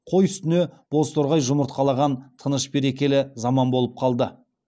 қой үстіне бозторғай жұмыртқалаған тыныш берекелі заман болып қалды